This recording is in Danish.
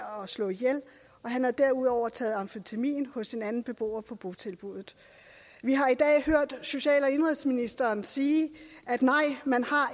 slå ihjel han havde derudover taget amfetamin hos en anden beboer på botilbuddet vi har i dag hørt social og indenrigsministeren sige at man